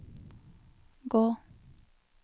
gå